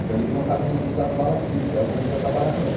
Então ele tinha um caminhãozinho das Balas Kids, aí eu comecei a trabalhar com ele.